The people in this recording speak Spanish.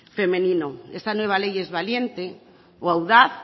femenino esta nueva ley es valiente o audaz